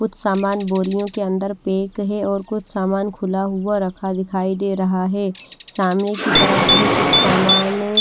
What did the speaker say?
कुछ सामान बोरीओ अन्दर पैक है और कुछ सामान खुला हुआ रखा दिखाई दे रहा है सामने की तरफ भी कुछ सामान--